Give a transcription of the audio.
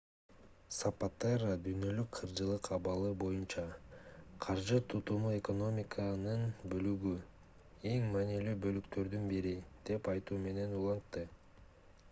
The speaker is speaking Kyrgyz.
сапатеро дүйнөлүк каржылык абалы боюнча каржы тутуму экономиканын бөлүгү эң маанилүү бөлүктөрдүн бири деп айтуу менен улантты